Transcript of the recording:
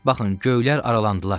Baxın, göylər aralandılar.